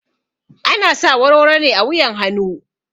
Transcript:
Ana sa warwaro ne a wuyan hanu